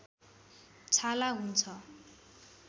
छाला हुन्छ